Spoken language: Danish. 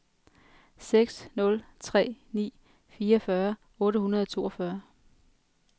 seks nul tre ni fireogfyrre otte hundrede og toogfyrre